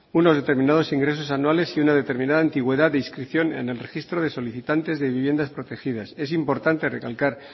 unos determinados ingresos anuales y una determinada antigüedad de inscripción en el registro de solicitantes de viviendas protegidas es importante recalcar